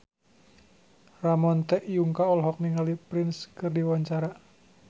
Ramon T. Yungka olohok ningali Prince keur diwawancara